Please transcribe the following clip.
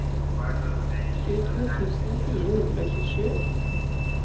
tjueto tusen fire hundre og tjuesju